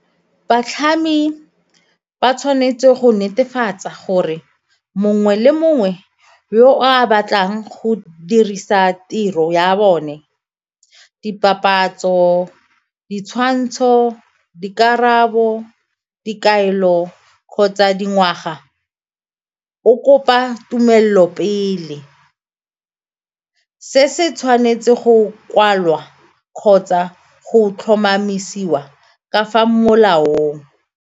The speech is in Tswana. Batlhami ba tshwanetse go netefatsa gore mongwe le mongwe yo a batlang go dirisa tiro ya bone dipapatso, ditshwantsho, dikarabo, dikaelo kgotsa dingwaga o kopa tumelelo pele. Se se tshwanetse go kwalwa kgotsa go tlhomamisiwa ka fa molaong.